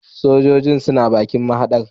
Sojojin suna bakin mahadar